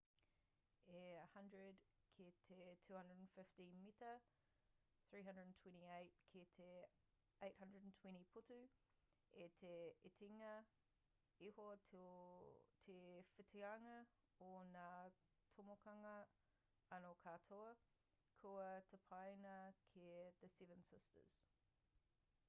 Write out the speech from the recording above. e 100 ki te 250 mita 328 ki te 820 putu i te itinga iho te whitianga o nga tomokanga ana katoa kua tapaina ki the seven sisters